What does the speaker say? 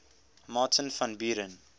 martin van buren